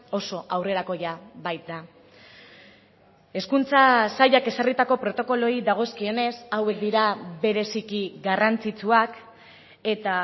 oso aurrerakoia baita hezkuntza sailak ezarritako protokoloei dagozkionez hauek dira bereziki garrantzitsuak eta